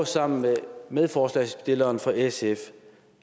sammen med medforslagsstilleren fra sf